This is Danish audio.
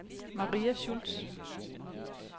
Maria Schultz